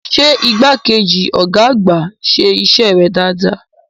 Ṣé igbákejì ọ̀gá àgbà ń ṣe iṣẹ́ rẹ̀ dáadáa?